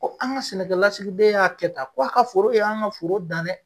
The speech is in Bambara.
Ko an ka sɛnɛkɛ lasigiden y'a kɛ tan ko a ka foro ye an ka foro dan dɛ.